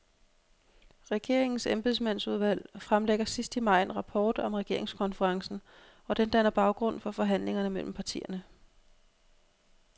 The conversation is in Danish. Regeringens embedsmandsudvalg fremlægger sidst i maj en rapport om regeringskonferencen, og den danner baggrund for forhandlingerne mellem partierne.